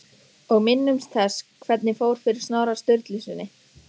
Og minnumst þess hvernig fór fyrir Snorra Sturlusyni!